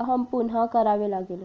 काम पुन्हा करावे लागले